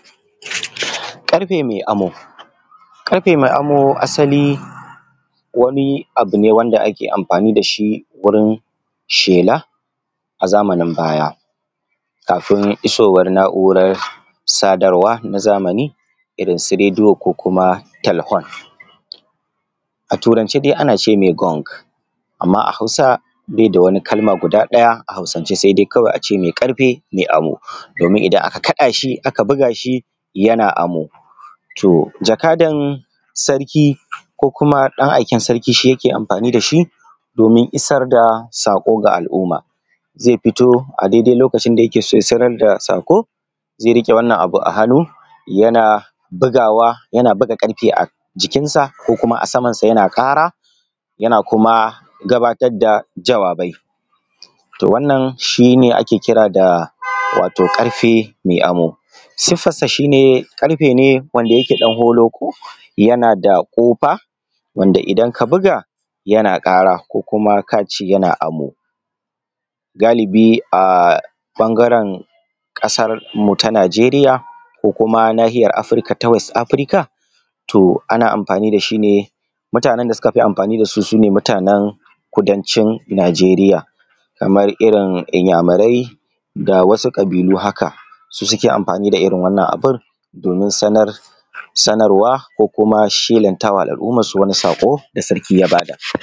Ƙarfe mai amo, ƙarfe mai amo asali wani abu ne wanda ake amfani da shi wurin shela a zamanin baya, kafin isowar naura na zamani irin su radiyo ko kuma telhon a turance dai ana ce mai Gonk. Amma a Hausa bai da wani kalma guda ɗaya sai dai a ce mai ƙarfe mai amo, domin idan aka kada shi aka buga shi yana amo. To jakadan sarki komkuma ɗan aiken sarki shi yake amfani da shi domin isar da sako ga al'umma. Zai fito a lokacin da zai isar da sako zai riƙe wannan abu a hannu yana bugawa yana buga ƙarfe a jikinsa ko kuma a samansa yana ƙara.yana kuma gabatar da jawabai, wannan shi ne ake kira da ƙarfe mai amo. Sifar sa shi ne karfe ne wanda yake ɗan holoƙo, yana da kofa wanda idan ka buga yana kara kuma ka ce yana amo. Galibi a bangaren ƙasarmu ta Nijeriya ko nahiyar Afirka da west Afirka ana amfani da shi ne. Mutane da suka fi amfani da shi su ne mutanen kudancin Nijeriya, kamar irin iyamurai da wsu ƙabilu haka su suka fi amfani da irin wannan abun domin sanarwa kuma shelanta wa al'ummansu wani sako da sarki ya ba da.